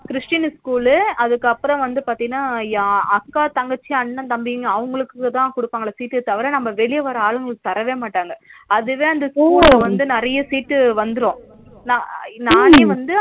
Christian school லு அதுகப்பராம வந்து பாத்தினா அக்கா தங்கச்சி அண்ணா தம்பி அவங்களுக்குதா குடுப்பாங்க sheet தவிர நம்ம வெளிய வர்ற ஆளுங்களுக்கு தரவே மாட்டாங்க அதுவே அந்த school லா வந்து நிறைய sheet வந்துரும்